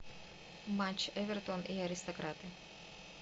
матч эвертон и аристократы